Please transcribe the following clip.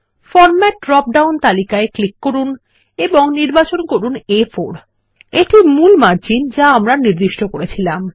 format drop down তালিকায় click করুন এবং নির্বাচন করুন আ4 এটা হল মূল মার্জিন যা আমরা নির্দিষ্ট করেছিলাম